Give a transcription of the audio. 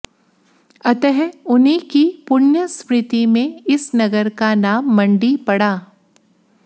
अतः उन्हीं की पुण्य स्मृति में इस नगर का नाम मंडी पड़ा